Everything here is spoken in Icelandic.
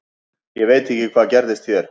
Ég veit ekki hvað gerðist hér.